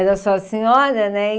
Era só a senhora, né?